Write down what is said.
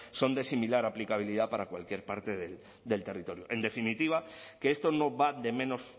son de similar aplicabilidad para cualquier parte del territorio en definitiva que esto no va de menos